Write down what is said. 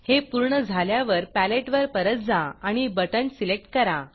हे पूर्ण झाल्यावर पॅलेटवर परत जा आणि बटण सिलेक्ट करा